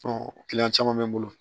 caman bɛ n bolo